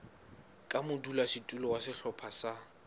ka modulasetulo wa sehlopha sa